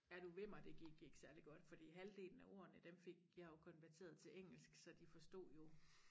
Er du vimmer det gik ikke særligt godt fordi halvdelen af ordene dem fik jeg jo konverteret til engelsk så de forstod jo